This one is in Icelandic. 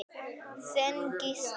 Þinn Gísli.